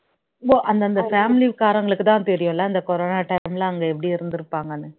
உம் அந்தந்த family காரங்களுக்குதான் தெரியும் இல்ல அந்த corona time ல அங்க எப்படி இருந்துருப்பாங்கன்னு